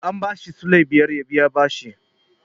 An ba shi sulai biyar ya biya bashi.